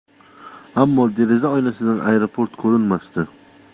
Ammo deraza oynasidan aeroport ko‘rinmasdi.